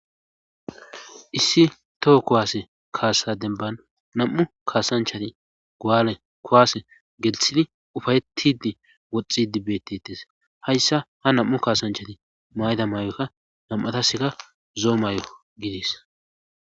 Issi toho kowaase kaasadenban nam7u kaasanchati gaale kowaase gelthidi ufayettidi woxxidi bettetes hayssa ha nam7u kaasanchati mayda maay7okka nam7ataseka zoo may7o gidis